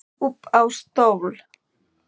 Upp á stól